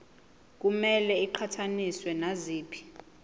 kumele iqhathaniswe naziphi